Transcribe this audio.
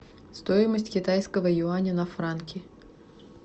стоимость китайского юаня на франки